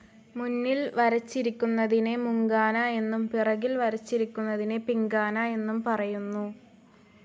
മുന്നിൽ വരച്ചിരിക്കുന്നതിനെ മുങ്കാന എന്നും പിറകിൽ വരയ്ക്കുന്നതിനെ പിങ്കാന എന്നും പറയുന്നു.